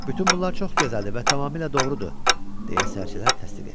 Bütün bunlar çox gözəldir və tamamilə doğrudur, deyə sərçələr təsdiq etdilər.